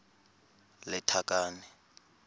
lethakane